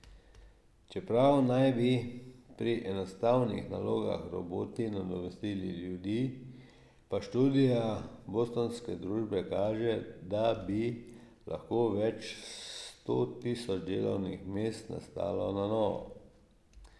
Čeprav naj bi pri enostavnih nalogah roboti nadomestili ljudi, pa študija bostonske družbe kaže, da bi lahko več sto tisoč delovnih mest nastalo na novo.